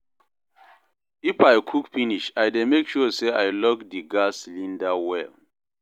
if I cook finish, I dey mek sure say I lock di gas cylinder well